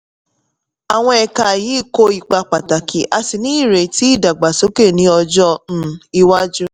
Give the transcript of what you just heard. àwọn ẹ̀ka yìí kó ipa pàtàkì a sì ní ìrètí ìdàgbàsókè ní ọjọ́ um iwájú.